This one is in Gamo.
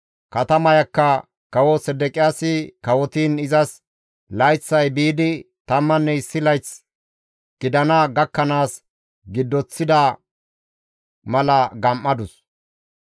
Katamayakka kawo Sedeqiyaasi kawotiin izas layththay biidi tammanne issi layth gidana gakkanaas giddoththida mala gam7adus.